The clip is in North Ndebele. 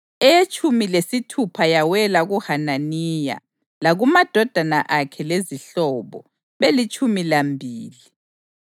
eyetshumi lesithupha yawela kuHananiya, lakumadodana akhe lezihlobo, belitshumi lambili;